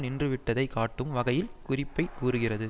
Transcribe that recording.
நின்றுவிட்டதை காட்டும் வகையில் குறிப்பை கூறுகிறது